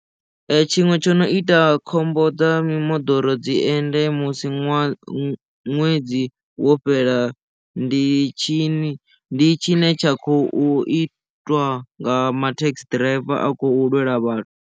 Tshiṅwe tsho no ita khombo dza mimoḓoro dzi ende musi ṅwaha ṅwedzi wo fhela ndi tshini ndi tshi ne tsha khou itwa nga mathekhisi ḓiraiva a khou lwela vhathu.